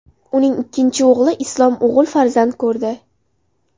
Uning ikkinchi o‘g‘li Islom o‘g‘il farzand ko‘rdi.